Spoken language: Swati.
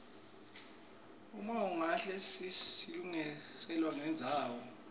uma ukahle silungiselwa nendzawo